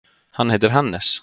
Hann heitir Hannes.